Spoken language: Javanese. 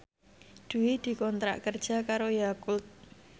Dwi dikontrak kerja karo Yakult